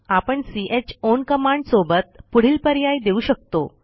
आपण chown command सोबत पुढील पर्याय देऊ शकतो